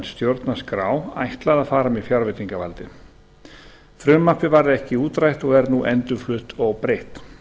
stjórnarskrá ætlað að fara með fjárveitingavaldið frumvarpið varð þá ekki útrætt og er nú endurflutt óbreytt